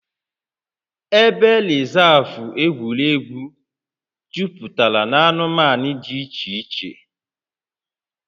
Ebe rịzaavụ egwuregwu juputara na anụmanụ dị iche iche